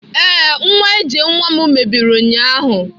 Ee, nwa ije nwa m mebiri ụnyahụ